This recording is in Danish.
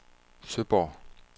Søborg